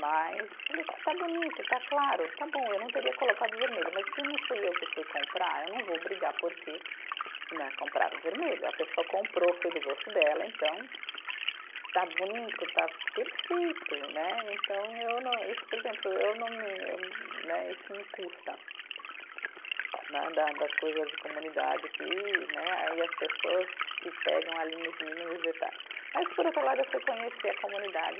Mas falei, está bonito, está claro, está bom eu não teria colocado vermelho mas se não fui eu que fui comprar eu não vou brigar porque né, compraram o vermelho a pessoa comprou foi do gosto dela, então está bonito, está perfeito né, então eu não isso por exemplo eu não me, né, isso me custa né da das coisas de comunidade aqui né aí as pessoas se pegam ali nos mínimos detalhes mas por outro lado eu fui conhecer a comunidade